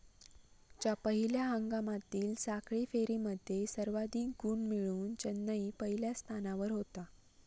च्या पहिल्या हंगामामधील साखळी फेरीमध्ये सर्वाधिक गुण मिळवून चेन्नईन पहिल्या स्थानावर होता.